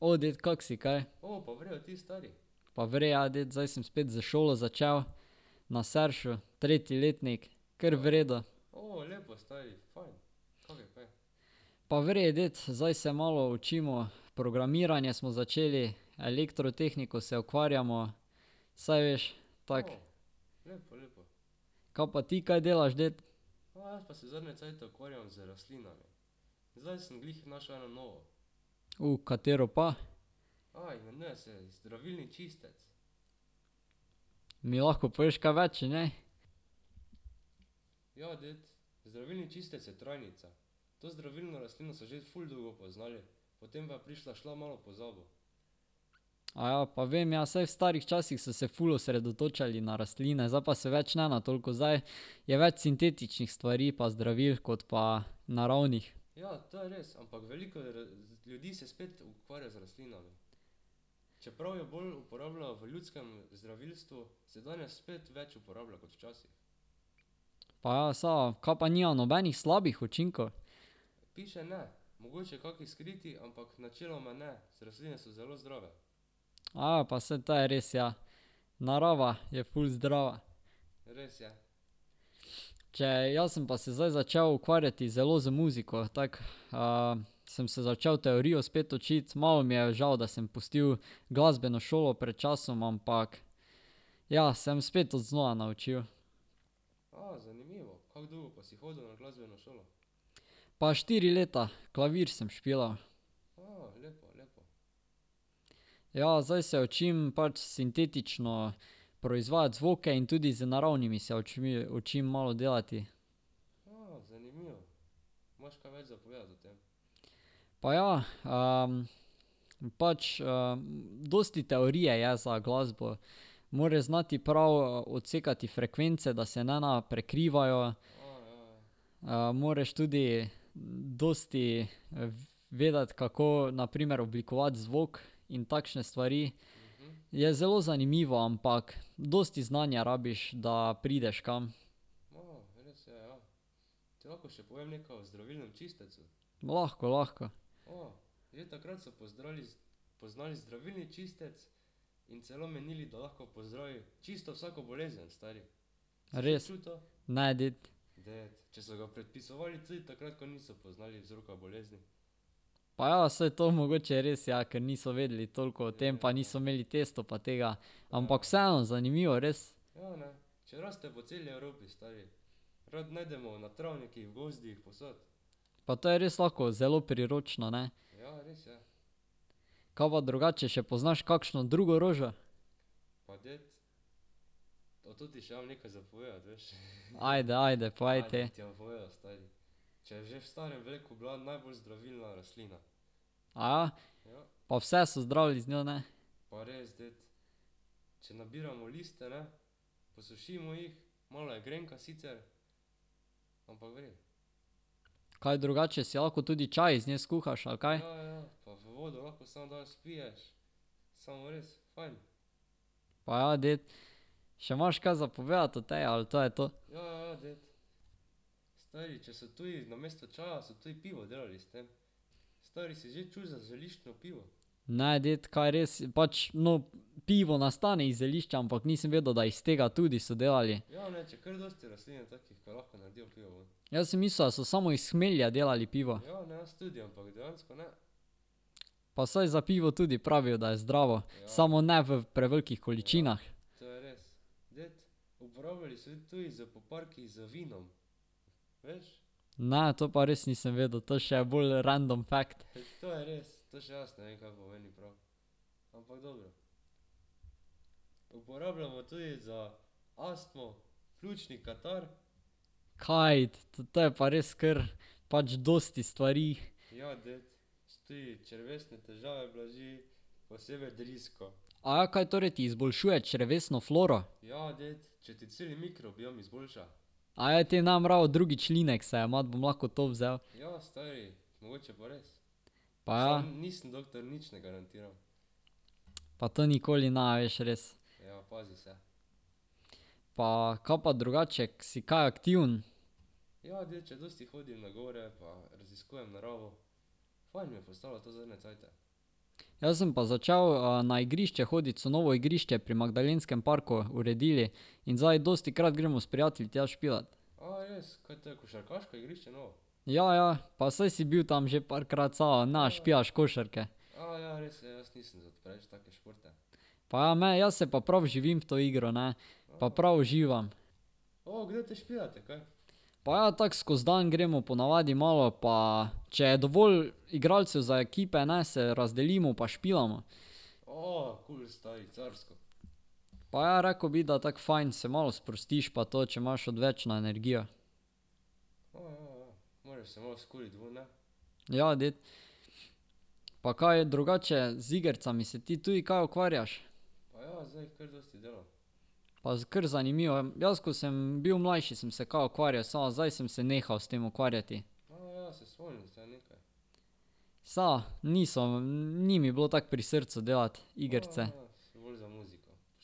O, ded, kako si kaj? Pa v redu, ja, ded, zdaj sem spet za šolo začel, na Seršu, tretji letnik. Kar v redu. Pa v redu, ded, zdaj se malo učimo, programiranje smo začeli, elektrotehniko se ukvarjamo, saj veš, tako ... Kaj pa ti kaj delaš, ded? katero pa? Mi lahko poveš kaj več o njej? Aja, pa vem, ja, saj v starih časih so se ful osredotočali na rastline, zdaj pa se več ne toliko. Zdaj je več sintetičnih stvari pa zdravil kot pa naravnih. Pa ja saa, kaj pa nima nobenih slabih učinkov? pa saj to je res, ja, narava je ful zdrava. Če, jaz sem pa se zdaj začel ukvarjati zelo z muziko, tako, sem se začeli teorijo spet učiti. Malo mi je žal, da sem pustil glasbeno šolo pred časom, ampak, ja, sem spet znova naučil. Pa štiri leta, klavir sem špilal. Ja, zdaj se učim, pač sintetično proizvajati zvoke in tudi z naravnimi se učim malo delati. Pa ja, pač dosti teorije je za glasbo. Moraš znati prav odsekati frekvence, da se ne prekrivajo. moraš tudi dosti vedeti, kako na primer oblikovati zvok in takšne stvari. Je zelo zanimivo, ampak dosti znanja rabiš, da prideš kam. Lahko, lahko. Res? Ne, ded. Pa ja, saj to mogoče res, ja, ker niso vedeli toliko o tem, pa niso imeli testov pa tega. Ampak vseeno, zanimivo, res. Pa to je res lahko zelo priročno, ne. Kaj pa drugače še poznaš kakšno drugo rožo? Ajde, ajde, povej te. Aja? Pa vse so zdravili z njo, ne? Kaj drugače si lahko tudi čaj iz nje skuhaš, ali kaj? Pa ja, dec, Še imaš kaj za povedati o tej ali to je to? Ne, dec, kaj res? Pač, no, pivo nastane iz zelišča, ampak nisem vedel da iz tega tudi so delali. Jaz sem mislil, da so samo iz hmelja delali pivo. Pa saj za pivo tudi pravijo, da je zdravo, samo ne v prevelikih količinah. Ne, to pa res nisem vedel, to še je bolj random fact. Kaj, to je pa res kar pač dosti stvari. Aja, kaj torej ti izboljšuje črevesno floro? Aja, te ne bom rabil drugič linexa jemati, bom lahko to vzel. Pa ja. Pa to nikoli ne veš, res. Pa, kaj pa drugače? Si kaj aktiven? Jaz sem pa začel na igrišče hoditi, so novo igrišče pri Magdalenskem parku uredili. In zdaj dostikrat gremo s prijatelji tja špilat. Ja, ja. Pa saj si bil tam že parkrat, samo ne špilaš košarke. Pa ja, jaz se pa prav vživim v to igro, ne, pa prav uživam. Pa ja, tako skozi dan gremo ponavadi malo, pa če je dovolj igralcev za ekipe, ne, se razdelimo pa špilamo. Pa ja, rekel bi, da tako fajn, se malo sprostiš pa to, če imaš odvečno energijo. Ja, ded. Pa kaj je, drugače z igricami se ti tudi kaj ukvarjaš? Pa kar zanimivo. Jaz, ko sem bil mlajši, sem se kao ukvarjal, samo zdaj sem se nehal s tem ukvarjati. Samo niso ... Ni mi bilo tako pri srcu delati igrice.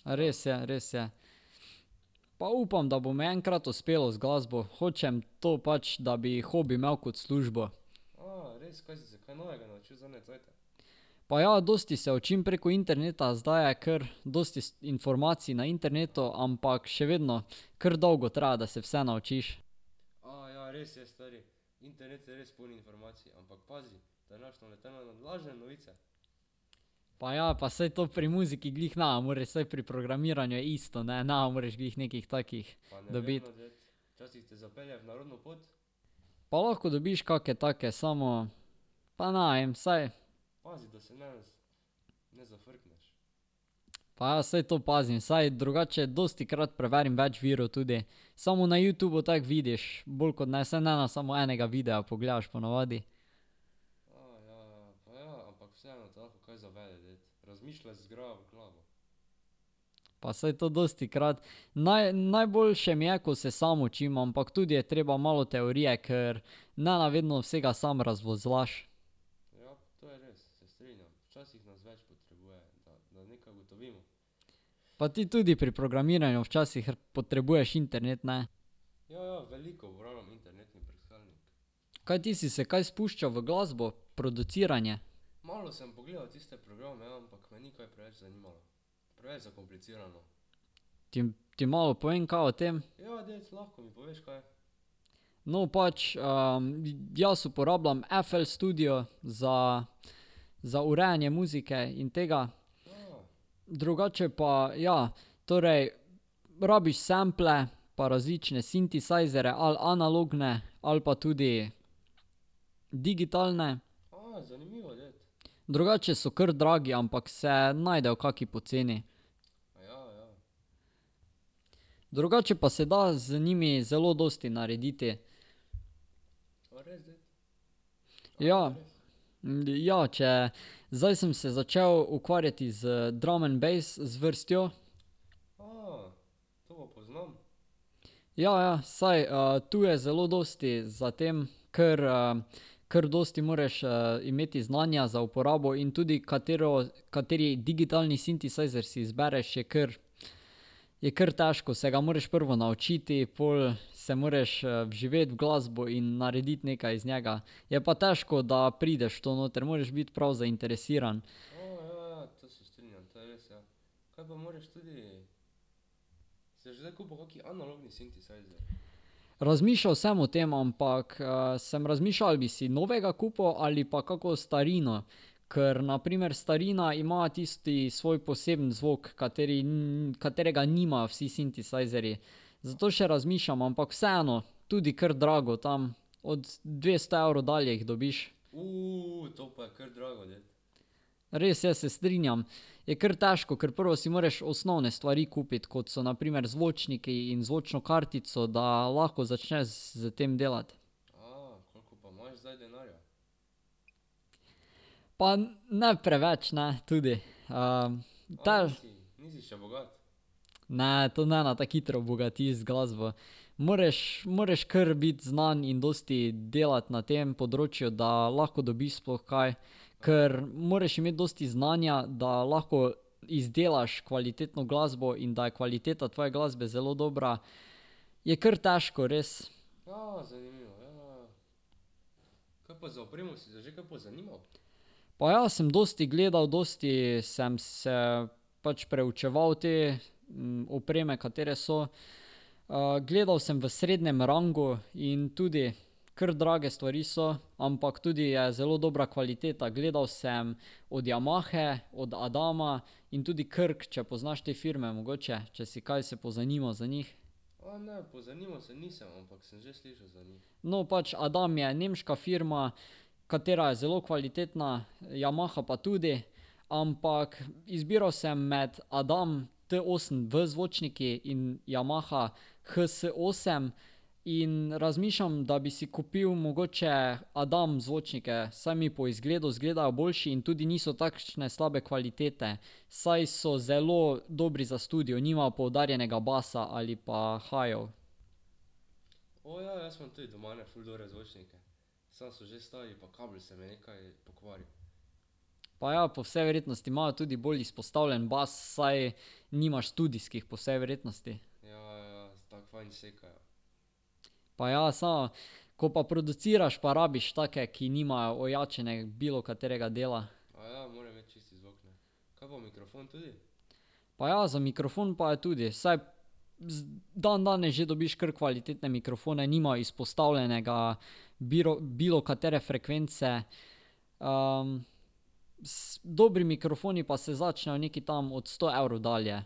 Res je, res je. Pa upam, da bo mi enkrat uspelo z glasbo. Hočem to pač, da bi hobi imel kot službo. Pa ja, dosti se učim preko interneta. Zdaj je kar dosti informacij na internetu, ampak še vedno, kar dolgo traja, da se vse naučiš. Pa ja, pa saj to pri muziki glih ne moreš, saj pri programiranju je isto, ne, ne moreš glih nekih takih dobiti. Pa lahko dobiš kake take, samo, pa ne vem, saj ... Pa ja, saj to pazim, saj drugače dostikrat preverim več virov tudi, samo na Youtubu tako vidiš, bolj kot ne, saj ne samo enega videa pogledaš ponavadi. Pa saj to dostikrat. najboljše mi je, ko se sam učim, ampak tudi je treba malo teorije, ker ne vedno vsega sam razvozljaš. Pa ti tudi pri programiranju včasih potrebuješ internet, ne? Kaj ti si se kaj spuščal v glasbo, produciranje? ti malo povem kaj o tem? No, pač, jaz uporabljam FL Studio za, za urejanje muzike in tega. Drugače pa ja, torej ... Rabiš sample pa različne sintesajzerje ali analogne ali pa tudi digitalne. Drugače so kar dragi, ampak se najdejo kaki poceni. Drugače pa se da z njimi zelo dosti narediti. Ja. ja če, zdaj sem se začeli ukvarjati z drum'n'bass zvrstjo. Ja, ja, saj tu je zelo dosti za tem. Kar kar dosti moraš imeti znanja za uporabo in tudi katero, kateri digitalni sintesajzer si izbereš je kar, je kar težko. Se ga moraš prvo naučiti, pol se moraš vživeti v glasbo in narediti nekaj iz njega. Je pa težko, da prideš v to noter, moraš biti prav zainteresiran. Razmišljal sem o tem, ampak sem razmišljal ali bi si novega kupil ali pa kako starino. Ker na primer starina ima tisti svoj poseben zvok, kateri, katerega nimajo vsi sintesajzerji. Zato še razmišljam, ampak vseeno, tudi kar drago, tam od dvesto evrov dalje jih dobiš. Res je, se strinjam. Je kar težko, ker prvo si moraš osnovne stvari kupiti, kot so na primer zvočniki in zvočno kartico, da lahko začneš s tem delati. Pa ne preveč, ne, tudi. Ne, to ne tako hitro obogatiš z glasbo. Moreš, moreš kar biti znan in dosti delati na tem področju, da lahko dobiš sploh kaj, kar moraš imeti dosti znanja, da lahko izdelaš kvalitetno glasbo in da je kvaliteta tvoje glasbe zelo dobra, je kar težko res. Pa ja, sem dosti gledal, dosti sem se, pač preučeval te, opreme, katere so ... gledal sem v srednjem rangu in tudi kar drage stvari so, ampak tudi je zelo dobra kvaliteta. Gledal sem od Yamahe, od Adama in tudi Korg, če poznaš te firme mogoče. Če si kaj se pozanimal za njih. No, pač, Adam je nemška firma, katera je zelo kvalitetna, Yamaha pa tudi. Ampak izbiral sem med Adam T osem v zvočniki in Yamaha H S osem in razmišljam, da bi si kupil mogoče Adam zvočnike, saj mi po izgledu izgledajo boljši in tudi niso takšne slabe kvalitete, saj so zelo dobri za studio, nimajo poudarjenega basa ali pa highov. Pa ja, po vsej verjetnosti imajo tudi bolj izpostavljen bas, saj nimaš studijskih po vsej verjetnosti. Pa ja, samo ko pa produciraš pa rabiš take, ki nimajo ojačanega bilokaterega dela. Pa ja, za mikrofon pa je tudi, saj dandanes že dobiš kar kvalitetne mikrofone, nimajo izpostavljenega bilokatere frekvence. dobri mikrofoni pa se začnejo nekje tam od sto evrov dalje.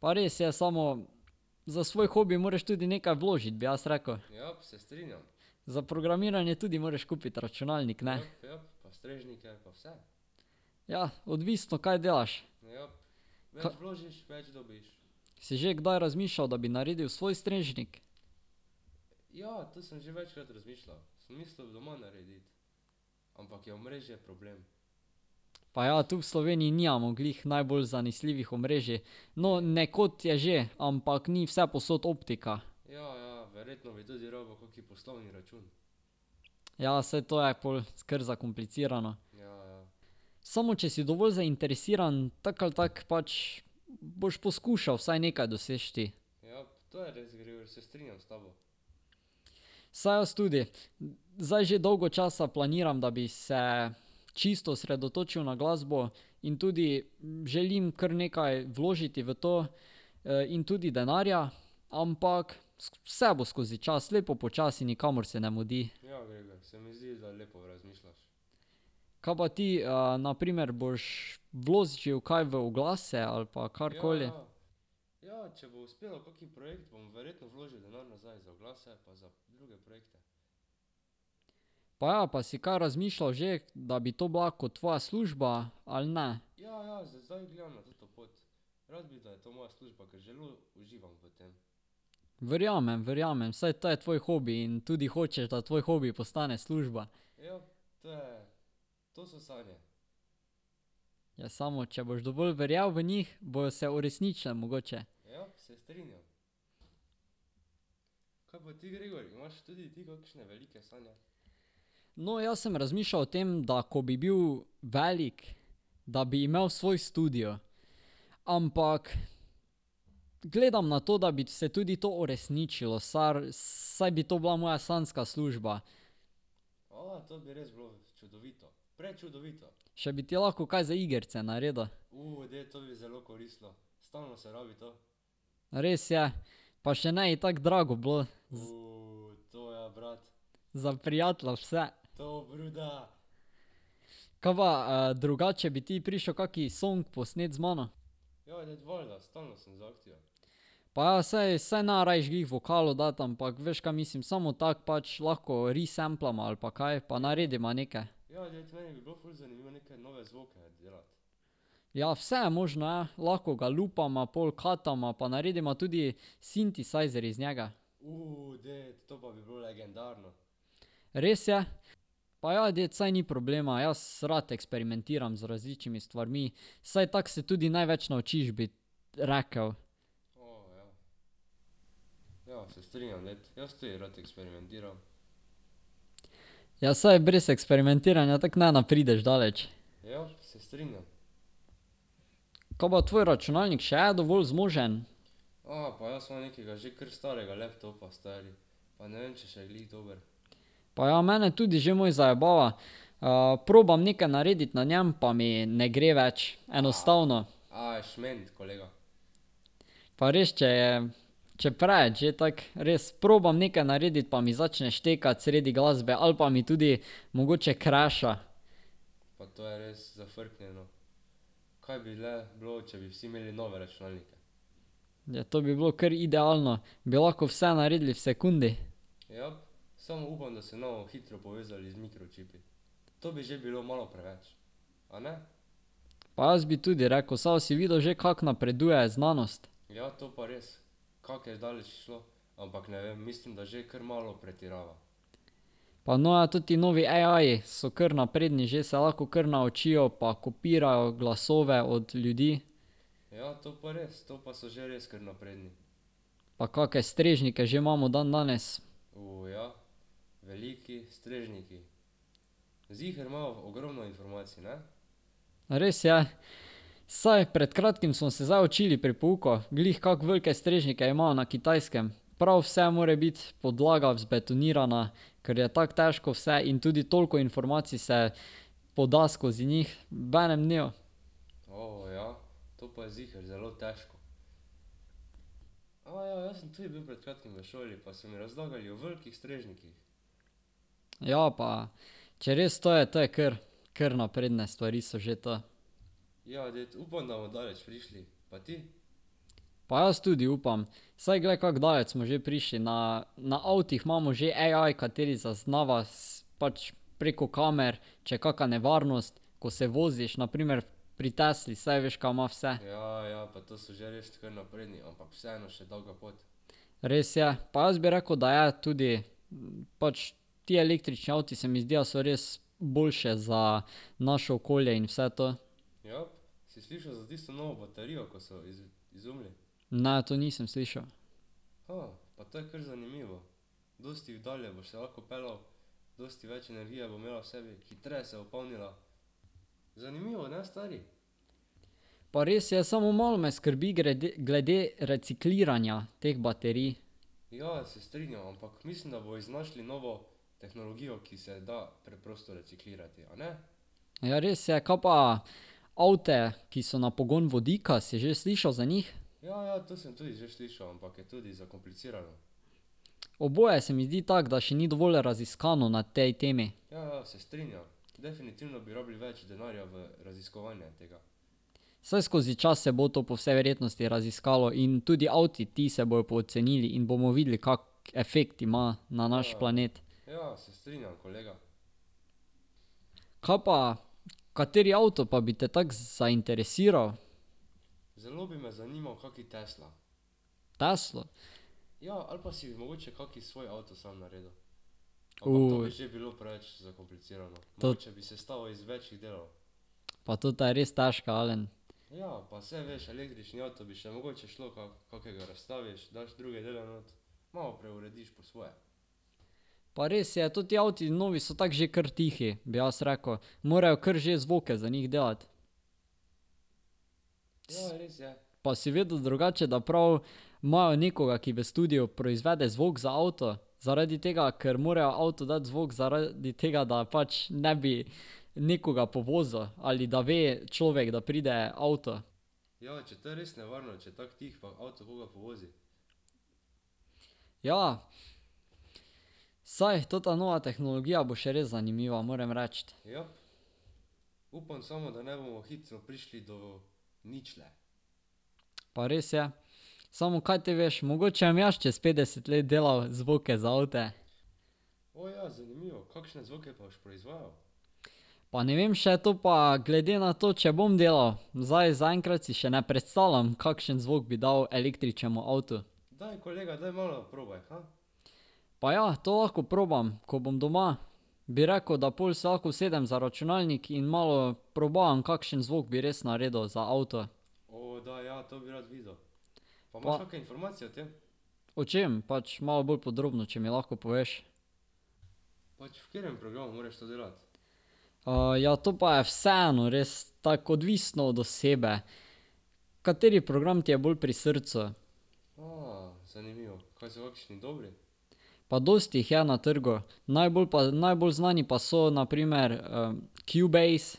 Pa res je, samo ... Za svoj hobi moraš tudi nekaj vložiti, bi jaz rekel. Za programiranje tudi moraš kupiti računalnik, ne. Ja, odvisno, kaj delaš. Si že kdaj razmišljal, da bi naredil svoj strežnik? Pa ja, tu v Sloveniji nimamo glih najbolj zanesljivih omrežij. No, nekod je že, ampak ni vsepovsod optika. Ja, saj to je pol kar zakomplicirano. Samo, če si dovolj zainteresiran tako ali tako pač, boš poskušal vsaj nekaj doseči. Saj jaz tudi. Zdaj že dolgo časa planiram, da bi se čisto osredotočil na glasbo in tudi želim kar nekaj vložiti v to. In tudi denarja. Ampak, vse bo skozi čas, lepo počasi, nikamor se ne mudi. Kaj pa ti, na primer, boš vložil kaj v oglase ali pa karkoli? Pa ja, pa si kaj razmišljal že, da bi to bila kot tvoja služba, ali ne? Verjamem, verjamem, saj to je tvoj hobi in tudi hočeš, da tvoj hobi postane služba. Ja, samo, če boš dovolj verjel v njih, bojo se uresničile mogoče. No, jaz sem razmišljal o tem, da ko bi bil velik, da bi imel svoj studio, ampak ... Gledam na to, da bi se tudi to uresničilo, saj bi to bila moja sanjska služba. Še bi ti lahko kaj za igrice naredil. Res je, pa še ne bi tako drago bilo. Za prijatelja vse. Kaj pa drugače, bi ti prišel kakšen song posnet z mano? Pa ja saj, saj ne rabiš glih vokalov dati, ampak veš, kaj mislim, samo tako pač lahko resamplamo ali pa kaj pa naredimo neke. Ja, vse je možno, ja. Lahko ga lupama, pol katama pa narediva tudi sintesajzer iz njega. Res je. Pa ja, ded, saj ni problema, jaz rad ekesperimentiram z različnimi stvarmi. Saj tako se tudi največ naučiš, bi rekel. Ja, saj brez eksperimentiranja tako ne prideš daleč. Kaj pa tvoj računalnik, še je dovolj zmožen? Pa ja, mene tudi že moj zajebava. probam narediti nekaj na njem, pa mi ne gre več. Enostavno. Pa res, če je ... če preveč že tako res, probam nekaj narediti, pa mi začne štekati sredi glasbe ali pa mi tudi mogoče crasha. Ja, to bi bilo kar idealno. Bi lahko vse naredili v sekundi. Pa jaz bi tudi rekel, samo si videl že, kako napreduje znanost. Pa no ja, ta novi AI-ji so kar napredni že, se lahko kar naučijo pa kopirajo glasove od ljudi. Pa kakšne strežnike že imamo dandanes. Res je. Saj pred kratkim smo se zdaj učili pri pouku, glih kako velike strežnike imajo na Kitajskem. Prav vse more biti podlaga vzbetonirana, kar je tako težko vse in tudi toliko informacij se poda skozi njih v enem dnevu. Ja pa, če res to je, to je kar, kar napredne stvari so že to. Pa jaz tudi upam. Saj glej kako daleč smo že prišli na, na avtih imamo že AI, kateri zaznava pač preko kamor, če je kaka nevarnost, ko se voziš, na primer pri Tesli, saj veš, kaj ima vse. Res je. Pa jaz bi rekel, da je tudi, pač ti električni avti se mi zdijo, so res boljše za naše okolje in vse to. Ne, to nisem slišal. Pa res je, samo malo me skrbi grede, glede recikliranja teh baterij. Ja, res je. Kaj pa avte, ki so na pogon vodika, si že slišal za njih? Oboje se mi zdi tako, da še ni dovolj raziskano na tej temi. Saj skozi čas se bo to po vsej verjetnosti raziskalo in tudi avti, ti, se bojo pocenili in bomo videli, kak efekt ima na naš planet. Kaj pa, kateri avto pa bi te tako zainteresiral? Teslo? Pa tota je res težka, Alen. Pa res je, toti avti novi so tako že kar tihi, bi jaz rekel. Morejo kar že zvoke za njih delati. Pa si vedel drugače, da prav imajo nekoga, ki v studiu proizvede zvok za avto, zaradi tega, ker morajo avtu dati zvok, zaradi tega, da pač ne bi nekoga povozil ali da ve človek, da pride avto. Ja. Saj ta nova tehnologija bo še res zanimiva, moram reči. Pa res je. Samo kaj te veš, mogoče bom jaz čez petdeset let delal zvoke za avte. Pa ne vem še, to pa glede na to, če bom delal. Zdaj zaenkrat si še ne predstavljam, kakšen zvok bi dal električnemu avtu. Pa ja, to lahko probam, ko bom doma. Bi rekel, da pol se lahko usedem za računalnik in malo probavam, kakšen zvok bi res naredil za avto. O čem? Pač malo bolj podrobno če mi lahko poveš. ja, to pa je vseeno res, tako odvisno od osebe. Kateri program ti je bolj pri srcu. Pa dosti jih je na trgu. Najbolj pa, najbolj znani pa so na primer, Cubase,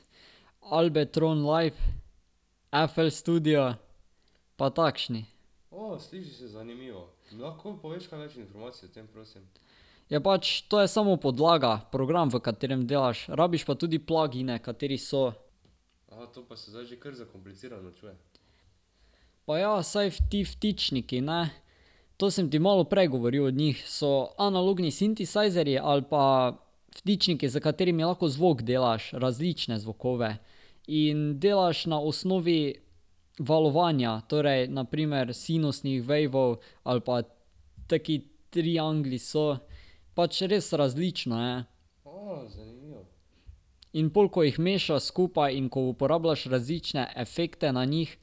Ableton Live, FL Studio, pa takšni. Ja, pač to je samo podlaga, program, v katerem delaš. Rabiš pa tudi plugine, kateri so. Pa ja, saj ti vtičniki, ne, to sem ti malo prej govoril od njih. So analogni sintesajzerji ali pa vtičniki, s katerimi lahko zvok delaš, različne zvoke. In delaš na osnovi valovanja, torej na primer sinusnih wavov ali pa taki triangli so. Pač, res različno je. In pol, ko jih mešaš skupaj in ko uporabljaš različne efekte na njih,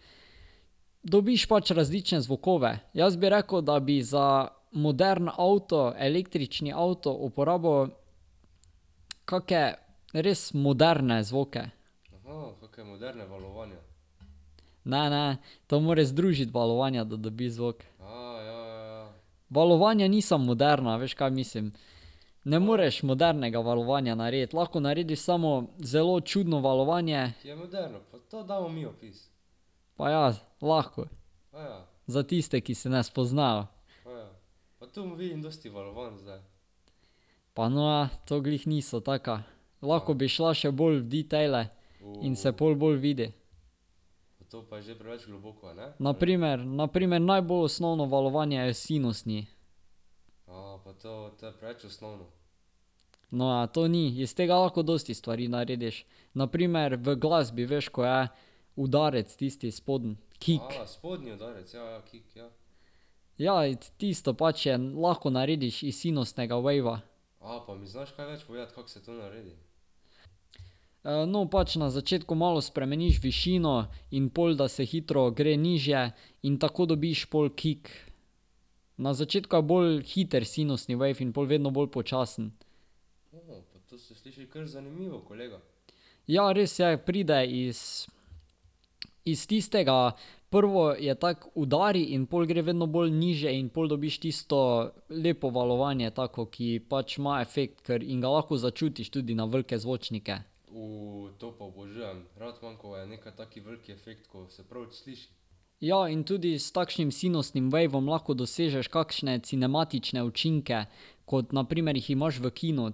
dobiš pač različne zvoke. Jaz bi rekel, da bi za moderen avto, električni avto, uporabil kake res moderne zvoke. Ne, ne. To moraš združiti valovanja, da dobiš zvok. Valovanja niso moderna, a veš, kaj mislim? Ne moreš modernega valovanja narediti, lahko narediš samo zelo čudno valovanje. Pa ja, lahko. Za tiste, ki se ne spoznajo. Pa no ja, to glih niso taka. Lahko bi šla še bolj v detaile. In se pol bolj vidi. Na primer, na primer najbolj osnovno valovanja je sinusni. No ja, to ni. Iz tega lahko dosti stvari narediš. Na primer v glasbi, veš, ko je udarec tisti spodnji, kick. Ja, tisto pač je lahko narediš iz sinusnega wava. No, pač na začetku malo spremeniš višino in pol da se hitro gre nižje in tako dobiš pol kick. Na začetku je bolj hiter sinusni wave in pol vedno bolj počasen. Ja, res je. Pride iz ... Iz tistega. Prvo je tako udari in pol gre vedno bolj nižje in pol dobiš tisto lepo valovanje, tako, ki pač ima efekt kar in ga lahko začutiš na velike zvočnike. Ja, in tudi s takšnim sinusnim wavom lahko dosežeš kakšne cinematične učinke, kot na primer jih imaš v kinu.